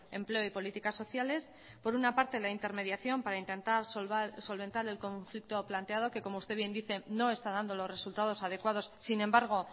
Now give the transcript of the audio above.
empleo y políticas sociales por una parte la intermediación para intentar solventar el conflicto planteado que como usted bien dice no está dando los resultados adecuados sin embargo